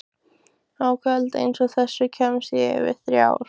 Á kvöldi einsog þessu kemst ég yfir þrjár.